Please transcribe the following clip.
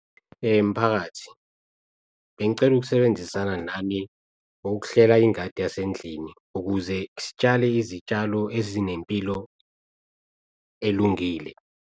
Mphakathi, bengicela ukusebenzisana nani ngokuhlela ingadi yasendlini ukuze sitshale izitshalo ezinempilo elungile.